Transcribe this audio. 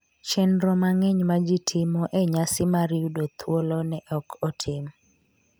chenro mang’eny ma ji timo e nyasi mar yudo thuolo ne ok otim